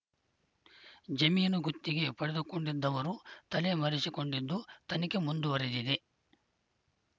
ಜಮೀನು ಗುತ್ತಿಗೆ ಪಡೆದುಕೊಂಡಿದ್ದವರು ತಲೆ ಮರೆಸಿಕೊಂಡಿದ್ದು ತನಿಖೆ ಮುಂದುವರಿದಿದೆ